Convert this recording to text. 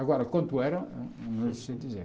Agora, quanto era, não sei dizer.